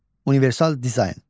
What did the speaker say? Universal dizayn.